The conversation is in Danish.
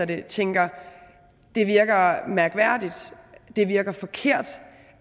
dem tænker at det virker mærkværdigt det virker forkert